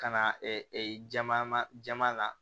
Ka na jama ma jama na